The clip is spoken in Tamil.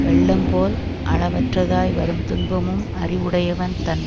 வெள்ளம் போல் அளவற்றதாய் வரும் துன்பமும் அறிவுடையவன் தன்